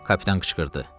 Kapitan qışqırdı.